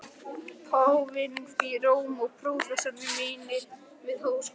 Páfinn í Róm og prófessorar mínir við Háskóla